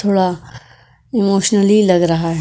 थोड़ा अ इमोशनली लग रहा --